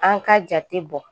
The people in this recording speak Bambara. An ka jate bɔ.